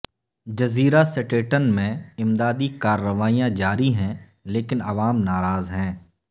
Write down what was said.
جزیرہ سٹیٹن میں امدادی کارروائیاں جاری ہیں لیکن عوام ناراض ہیں